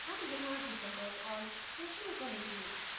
हम यहाँ drupal org से शुरू करेंगे